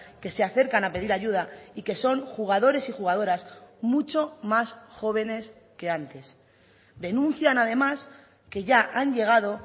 que se acercan a pedir ayuda y que son jugadores y jugadoras mucho más jóvenes que antes denuncian además que ya han llegado